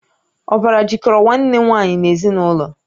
Ọbara jikọrọ Nwanne nwaanyị n'ezinụlọ